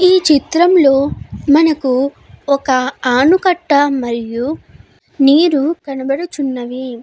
ఈ చిత్రం లో మనకు ఒక ఆనకట్ట మరియు నీరు కనబడుచున్నవి.